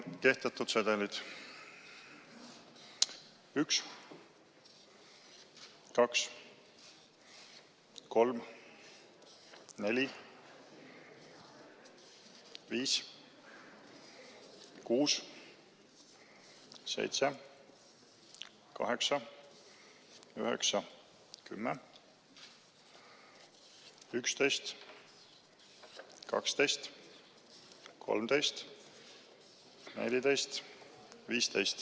Kehtetud sedelid: 1, 2, 3, 4, 5, 6, 7, 8, 9, 10, 11, 12, 13, 14, 15.